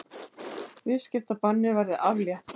Viðskiptabanni verði aflétt